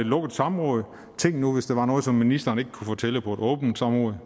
lukket samråd for tænk nu hvis der var noget som ministeren ikke kunne fortælle på et åbent samråd